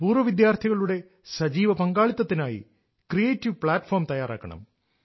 പൂർവവിദ്യാർഥികളുടെ സജീവ പങ്കാളിത്തിനായി creative platform തയ്യാറാക്കണം